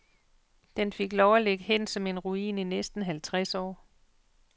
Den fik lov at ligge hen som en ruin i næsten halvtreds år.